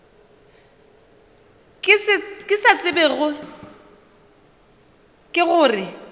ke se tsebago ke gore